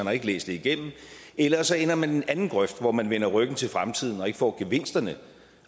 har ikke læst det igennem eller også ender man i den anden grøft hvor man vender ryggen til fremtiden og ikke får gevinsterne